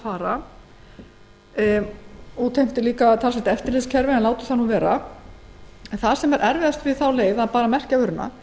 og hún útheimtir talsvert eftirlit en látum það nú vera erfiðast við þá leið það er að merkja vöruna